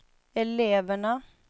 eleverna